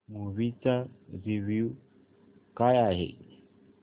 movie चा review काय आहे